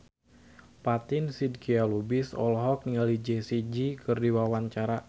Fatin Shidqia Lubis olohok ningali Jessie J keur diwawancara